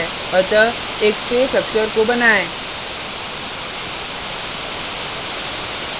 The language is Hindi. अतः एक space अक्षर का बनाएँ